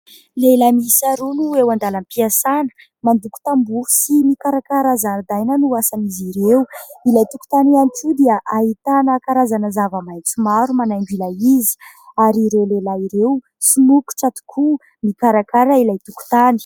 Lehilay miisa roa no eo an-dalam-piasana mandoko tamboha sy mikarakara zaridaina no asan'izy ireo. Ilay tokontany ihany koa dia ahitana karazana zava-maintso maro manaingo ilay izy, ary ireo lehilahy ireo somokotra tokoa mikarakara ilay tokontany.